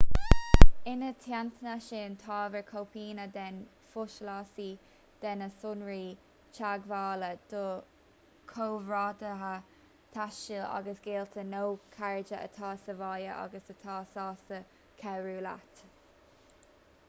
ina theannta sin tabhair cóipeanna den pholasaí/de na sonraí teagmhála do chomrádaithe taistil agus gaolta nó cairde atá sa bhaile agus atá sásta cabhrú leat